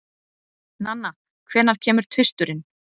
Nanna, hvenær kemur tvisturinn?